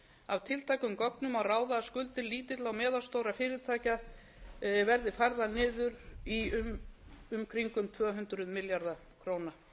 af tiltækum gögnum má ráða að skuldir lítilla og meðalstórra fyrirtækja verði færðar í um kringum tvö hundruð milljarða króna